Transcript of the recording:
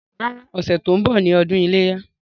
Rárá, ọ̀sẹ̀ tó ń bọ̀ ni ọdún iléyá.